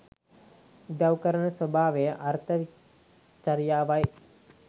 උදව් කරන ස්වභාවය අර්ථ චරියාවයි.